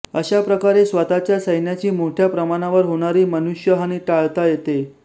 अश्या प्रकारे स्वतःच्या सैन्याची मोठया प्रमाणावर होणारी मनुष्यहानी टाळता येते